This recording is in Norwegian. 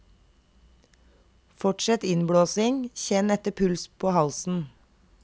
Fortsett innblåsing, kjenn etter puls på halsen.